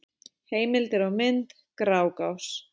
Heimildir og mynd: Grágás.